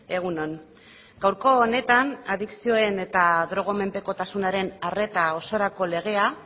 egun on gaurko honetan adikzioen eta drogamenpekotasunaren arreta osorako legea